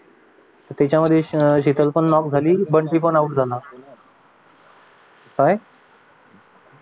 त्याच्यामध्ये अं शितल पण लॉक झाली आणि बंटी पण आऊट झाला